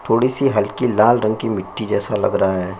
थोड़ी सी हल्की लाल रंग की मिट्टी जैसा लग रहा है।